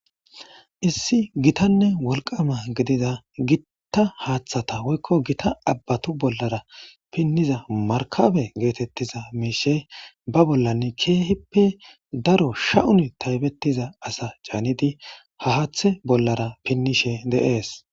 Issi gitanne wolqama gidida gitta haaththata woykko gita abbatu bollara pinniza markabe geetettiza miishe ba bollan keehippe daro sha'un taybetiza asa caanidi hahaathe bollara pinnishe deees.